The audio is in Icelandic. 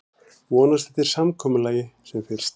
Vonast eftir samkomulagi sem fyrst